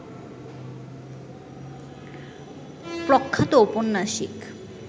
প্রখ্যাত ঔপন্যাসিক